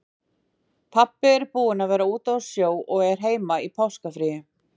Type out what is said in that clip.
Pabbi er búinn að vera úti á sjó og er heima í páskafríi.